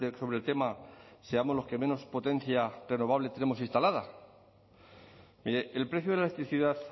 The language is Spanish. sobre el tema seamos los que menos potencia tenemos instalada mire el precio de la electricidad